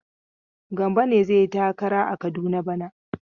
Gambo ne zai yi takara a Kaduna bana.